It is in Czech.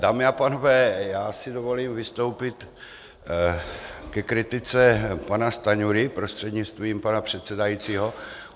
Dámy a pánové, já si dovolím vystoupit ke kritice pana Stanjury prostřednictvím pana předsedajícího.